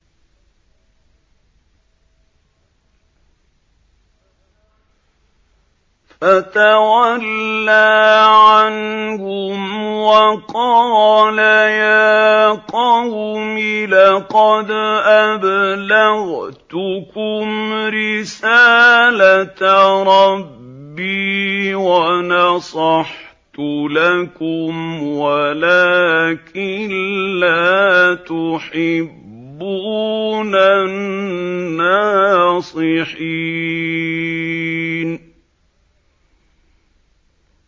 فَتَوَلَّىٰ عَنْهُمْ وَقَالَ يَا قَوْمِ لَقَدْ أَبْلَغْتُكُمْ رِسَالَةَ رَبِّي وَنَصَحْتُ لَكُمْ وَلَٰكِن لَّا تُحِبُّونَ النَّاصِحِينَ